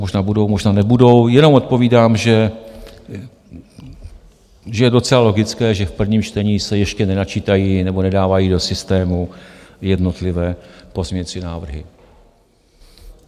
Možná budou, možná nebudou, jenom odpovídám, že je docela logické, že v prvním čtení se ještě nenačítají nebo nedávají do systému jednotlivé pozměňovací návrhy.